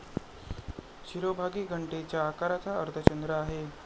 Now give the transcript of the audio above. शिरोभागी घंटेच्या आकाराचा अर्धचंद्र आहे.